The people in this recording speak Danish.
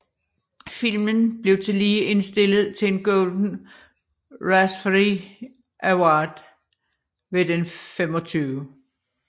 Filmen blev tillige indstillet til en Golden Raspberry Award ved den Den 25